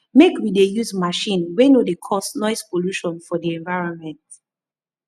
make we dey use machine wey no dey cause noise polution for di environment